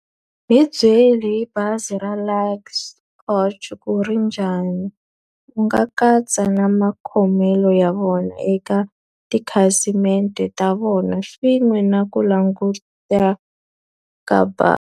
Hi byeli hi bazi ra Luxy Coach ku ri njhani. U nga katsa na makhomelo ya vona eka tikhasimende ta vona swin'we na ku languteka ka bazi.